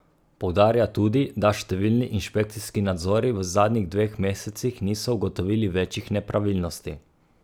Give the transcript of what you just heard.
Poudarja tudi, da številni inšpekcijski nadzori v zadnjih dveh mesecih niso ugotovili večjih nepravilnosti.